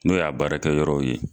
N'o y'a baarakɛ yɔrɔw ye.